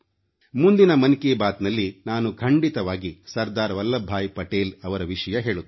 ಮುಂದಿನ ಮನ್ ಕಿ ಬಾತ್ನಲ್ಲಿ ನಾನು ಖಂಡಿತವಾಗಿ ಸರ್ದಾರ್ ವಲ್ಲಬ್ ಭಾಯಿ ಪಟೇಲ್ ಅವರ ವಿಷಯ ಹೇಳುತ್ತೇನೆ